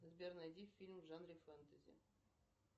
сбер найди фильм в жанре фэнтези